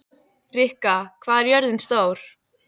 Rikka, hvað er jörðin stór?